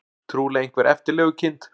Trúlega einhver eftirlegukind.